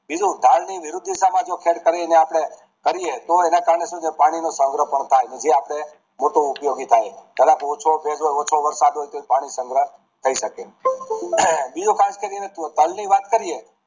બીજું ઢાળ ની વિરુદ્ધ દિશા માં જો ખેડ કરાવી તો એના કારણે પાણી ની સંગહ કરતા હોઈએ છે જે આપડે મોટો ઉપયોગી થાય જરાક ઓછો વરસાદ કે ઓછો વરસાદ હોય તો પાણી સંગ્રહ થય શકે બીજું ખાસ કરી ને તલની વાત કરીએ